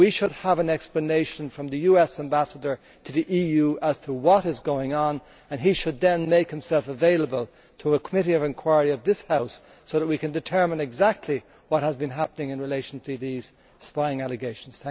We should have an explanation from the US Ambassador to the EU as to what is going on and he should then make himself available to a committee of inquiry in this House so we can determine exactly what has been happening in relation to these spying allegations.